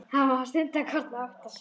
Hann var stundarkorn að átta sig.